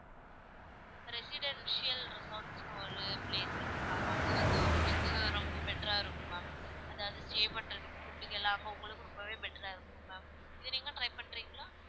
Residential ரிசார்ட்ஸ்னு ஒரு place இருக்கு ma'am அங்க வந்து உங்களுக்கு ரொம்ப better ஆ இருக்கும் ma'am அதாவது stay பண்றதுக்கு food கெல்லாம் அங்க உங்களுக்கு ரொம்பவே better ஆ இருக்கும் ma'am இத நீங்க வேணா try பண்றீங்களா?